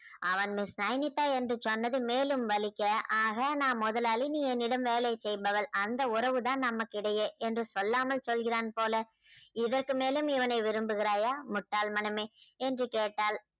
அவன் miss நைனிதா என்று சொன்னது மேலும் வலிக்க ஆக நான் முதலாளி நீ என்னிடம் வேலை செய்பவள் அந்த உறவு தான் நமக்கிடையே என்று சொல்லாம சொல்கிறான் போல இதற்கு மேலும் இவனை விரும்புகிறாயா முட்டாள் மனமே என்று கேட்டாள்